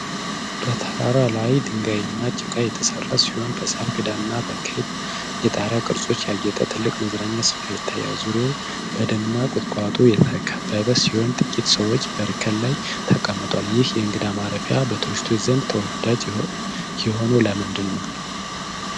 በተራራ ላይ ድንጋይና ጭቃ የተሰራ ሲሆን፣ በሣር ክዳንና በክብ የጣሪያ ቅርጾች ያጌጠ ትልቅ የመዝናኛ ስፍራ ይታያል። ዙሪያው በደንና ቁጥቋጦ የተከበበ ሲሆን፣ ጥቂት ሰዎች በእርከን ላይ ተቀምጠዋል። ይህ የእንግዳ ማረፊያ በቱሪስቶች ዘንድ ተወዳጅ የሆነው ለምንድን ነው?